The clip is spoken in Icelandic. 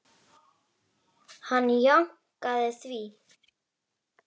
Hann jánkaði því.